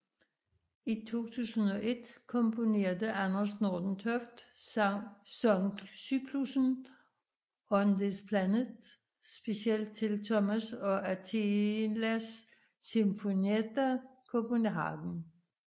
I 2001 komponerede Anders Nordentoft sangcyklussen On this Planet specielt til Thomas og Athelas Sinfonietta Copenhagen